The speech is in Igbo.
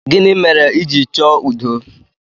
Gịnị mere iji chọọ udo?